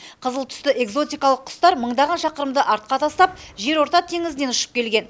қызыл түсті экзотикалық құстар мыңдаған шақырымды артқа тастап жерорта теңізінен ұшып келген